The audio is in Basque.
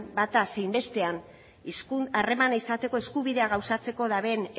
bata zein bestean harremana izateko eskubidea gauzatzeko duten